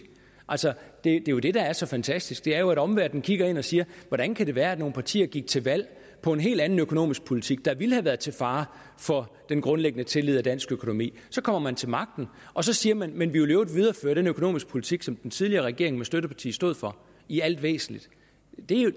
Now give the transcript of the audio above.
altså det er jo det der er så fantastisk nemlig at omverdenen kigger ind og siger hvordan kan det være at nogle partier gik til valg på en helt anden økonomisk politik der ville have været til fare for den grundlæggende tillid og dansk økonomi så kommer man til magten og så siger man men vi vil i øvrigt videreføre den økonomiske politik som den tidligere regering med støttepartiet stod for i al væsentligt